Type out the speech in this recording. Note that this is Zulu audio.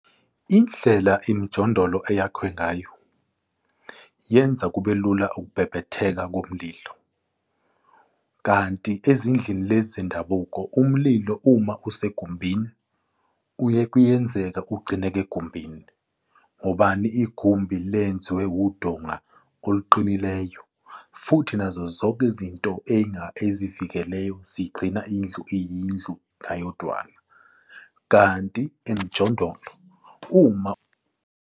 Indlela imijondolo eyakhiwe ngayo, yenza kube lula ukubhebhetheka komlilo, kanti ezindlini lezi zendabuko, umlilo, uma isegumbini uye kuyenzeka, ugcineke egumbini, ngobani? Igumbi lenziwe udonga oluqinileyo, futhi nazo zonke izinto ezivikelayo zigcina indlu iyindlu ngayedwana kanti emjondolo uma.